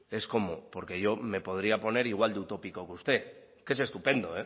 es cómo porque yo me podría poner igual de utópico que usted que es estupendo